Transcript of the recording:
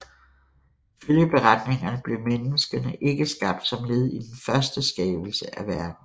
Ifølge beretningerne blev menneskene ikke skabt som led i den første skabelse af verden